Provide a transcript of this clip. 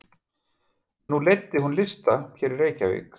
Nú leiddi hún lista hér í Reykjavík?